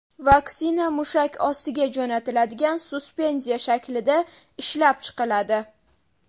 Vaksina mushak ostiga jo‘natiladigan suspenziya shaklida ishlab chiqiladi.